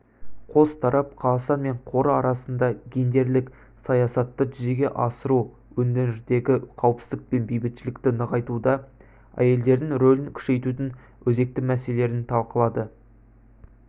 қос тарап қазақстан мен қоры арасында гендерлік саясатты жүзеге асыру өңірдегі қауіпсіздік пен бейбітшілікті нығайтуда әйелдердің рөлін күшейтудің өзекті мәселелерін талқылады